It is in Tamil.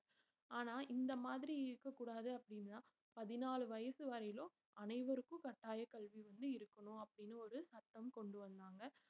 ஆனா இந்த மாதிரி இருக்கக்கூடாது அப்படின்னா பதினாலு வயசு வரையிலும் அனைவருக்கும் கட்டாயக் கல்வி வந்து இருக்கணும் அப்படின்னு ஒரு சட்டம் கொண்டு வந்தாங்க